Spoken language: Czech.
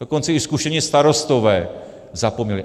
Dokonce i zkušení starostové zapomněli.